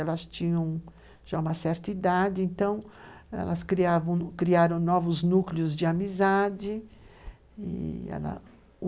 Elas tinham já uma certa idade, então elas criavam, criaram novos núcleos de amizade e ela,